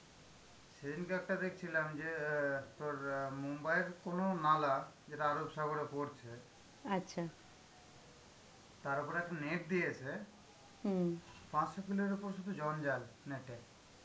সেদিনকে একটা দেখছিলাম যে অ্যাঁ তোর মুম্বাইয়ের কোন নালা, যেটা আরব সাগরে পরছে তার ওপরে একটা নেপ দিয়েছে. পাঁচশো কিলোর ওপর শুধু জঞ্জাল net এ.